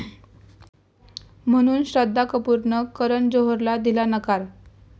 ...म्हणून श्रद्धा कपूरनं करण जोहरला दिला नकार